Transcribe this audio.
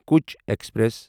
کچھ ایکسپریس